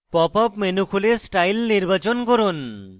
pop up menu খুলে style নির্বাচন করুন